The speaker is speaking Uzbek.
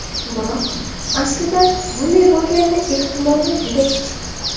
Biroq, aslida, bunday bo‘lganini ehtimoli juda kichik.